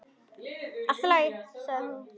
Allt í lagi, sagði hún.